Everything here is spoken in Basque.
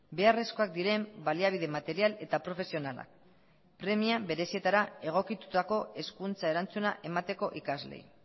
beharrezkoak diren baliabide material eta profesionalak premia berezietara egokitutako hezkuntza erantzuna emateko ikasleei